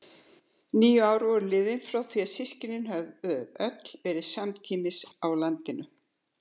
Níu ár voru liðin frá því við systkinin höfðum öll verið samtímis á landinu.